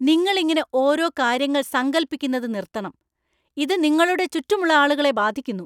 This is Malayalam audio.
നിങ്ങൾ ഇങ്ങനെ ഓരോ കാര്യങ്ങൾ സങ്കൽപ്പിക്കുന്നത് നിർത്തണം. ഇത് നിങ്ങളുടെ ചുറ്റുമുള്ള ആളുകളെ ബാധിക്കുന്നു.